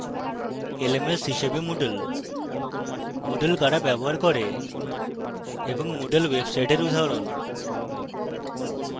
lms হিসাবে moodle moodle কারা ব্যবহার করে এবং moodle websites উদাহরণ